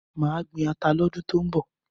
Màá gbin ata lọ́dún tó ń bọ̀.